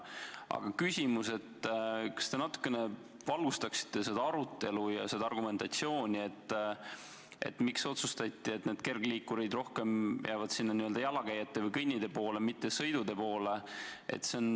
Aga kas te natuke valgustaksite seda arutelu ja argumentatsiooni, miks otsustati, et kergliikurid jäävad rohkem jalakäijate või kõnnitee poole, mitte sõidutee poole?